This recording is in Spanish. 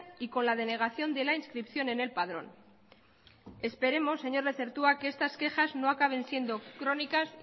y con la denegación de la inscripción en el padrón esperemos señor lezertua que estas quejas no acaben siendo crónicas